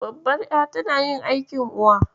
Babbar ƴa tana yin aikin Uwa.